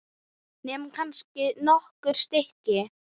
Nema kannski nokkur stykki.